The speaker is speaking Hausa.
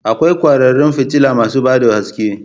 Akwai kwararan fitila masu ba da haske